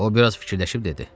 O biraz fikirləşib dedi.